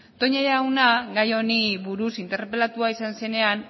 toña jauna gai honi buruz interpelatua izan zenean